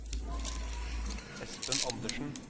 Espen Anderssen